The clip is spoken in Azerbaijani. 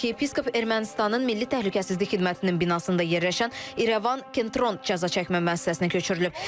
Arxiyepiskop Ermənistanın Milli Təhlükəsizlik Xidmətinin binasında yerləşən İrəvan Kentrond cəzaçəkmə müəssisəsinə köçürülüb.